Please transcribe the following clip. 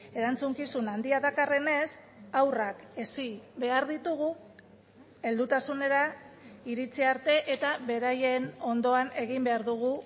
erantzukizun handia dakarrenez haurrak hezi behar ditugu heldutasunera iritsi arte eta beraien ondoan egin behar dugu